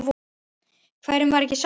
Hverjum var ekki sama?